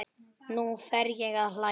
Nú fer ég að hlæja.